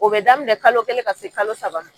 O bɛ daminɛ kalo kelen ka se kalo saba ma.